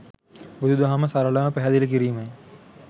බුදු දහම සරලව පැහැදිලිකිරීමයි.